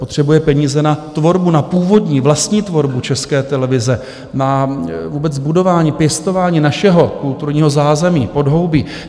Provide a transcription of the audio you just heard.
Potřebuje peníze na tvorbu, na původní, vlastní tvorbu České televize, na vůbec budování, pěstování našeho kulturního zázemí, podhoubí.